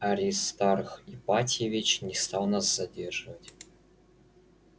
аристарх ипатьевич не стал нас задерживать